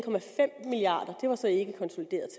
milliard kroner se